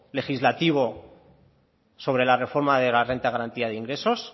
legislativo sobre la reforma de la renta de garantía ingresos